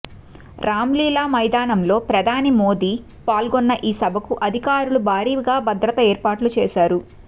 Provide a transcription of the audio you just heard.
రామ్లీలా మైదానంలో ప్రధాని మోదీ పాల్గొన్న ఈ సభకు అధికారులు భారీగా భద్రత ఏర్పాట్లు చేశారు